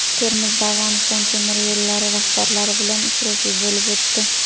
Termizda Afg‘oniston temir yo‘llari rahbarlari bilan uchrashuv bo‘lib o‘tdi.